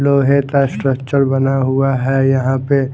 लोहे का स्ट्रक्चर बना हुआ है यहाँ पे--